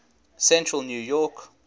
central new york